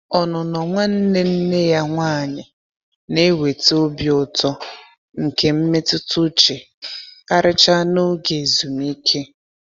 Ọnụnọ nwanne nne ya nwanyi na-eweta obi ụtọ nke mmetụta uche, karịchaa n'oge ezumike.